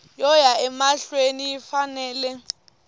yo ya emahlweni yi fanele